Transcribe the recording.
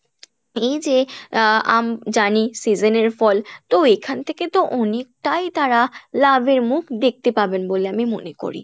এইযে আহ আম জানি season এর ফল তো এখান থেকে তো অনেকটাই তারা লাভের মুখ দেখতে পাবেন বলে আমি মনে করি।